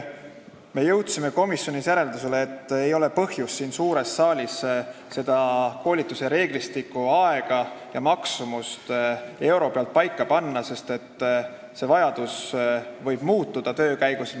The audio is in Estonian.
Me jõudsime komisjonis järeldusele, et ei ole põhjust siin suures saalis koolituse reeglistikku, aega ja maksumust euro pealt paika panna, sest vajadused võivad töö käigus muutuda.